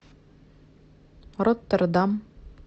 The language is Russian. роттердам